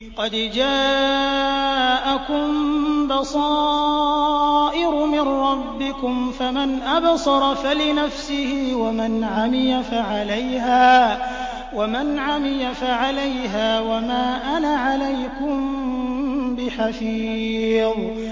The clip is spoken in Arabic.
قَدْ جَاءَكُم بَصَائِرُ مِن رَّبِّكُمْ ۖ فَمَنْ أَبْصَرَ فَلِنَفْسِهِ ۖ وَمَنْ عَمِيَ فَعَلَيْهَا ۚ وَمَا أَنَا عَلَيْكُم بِحَفِيظٍ